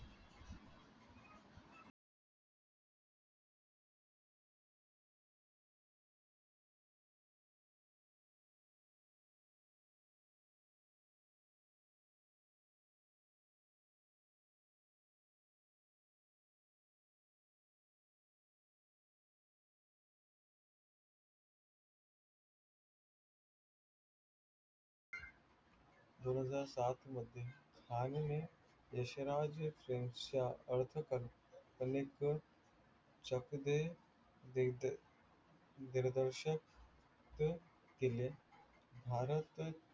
दोन हजार सातमध्ये खान ने यश राज फिल्मसच्या चक दे दिग्दर्शक केले, भारत